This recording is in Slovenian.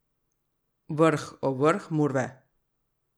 Vrh, o vrh murve!